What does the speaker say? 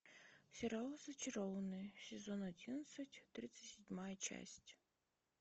сериал зачарованные сезон одиннадцать тридцать седьмая часть